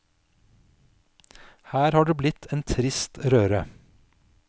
Her har det blitt en trist røre.